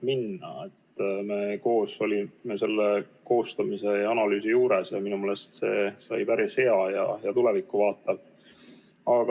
Me olime koos selle koostamise ja analüüsi juures ja minu meelest see sai päris hea ja tulevikku vaatav.